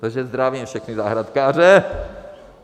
Takže zdravím všechny zahrádkáře.